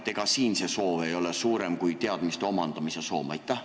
Ega siin ei ole see soov suurem kui teadmiste omandamise soov?